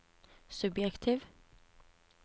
subjektiv